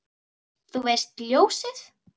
Þú veist, ljósið